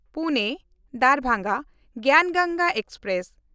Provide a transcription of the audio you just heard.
ᱯᱩᱱᱮ–ᱫᱟᱨᱵᱷᱟᱝᱜᱟ ᱜᱮᱭᱟᱱ ᱜᱚᱝᱜᱟ ᱮᱠᱥᱯᱨᱮᱥ